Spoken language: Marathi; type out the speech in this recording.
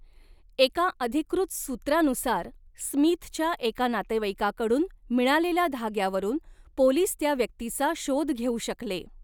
एका अधिकृत सूत्रानुसार, स्मिथच्या एका नातेवाईकाकडून मिळालेल्या धाग्यावरून पोलिस त्या व्यक्तीचा शोध घेऊ शकले.